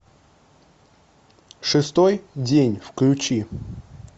шестой день включи